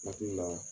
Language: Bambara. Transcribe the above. Hakili la